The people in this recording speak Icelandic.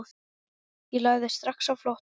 Ég lagði strax á flótta.